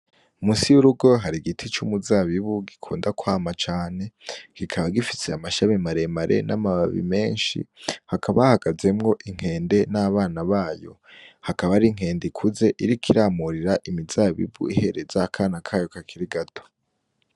Munsi y'urugo hari igiti c'umuzabibu gikunda kwama cane. Kikaba gifise amashami maremare n'amababi menshi. Hakaba hahagazemwo inkende n'abana bayo. Hakaba hari inkende ikuze iriko iramurira imizabibu ihereza akana kayo kakiri gato.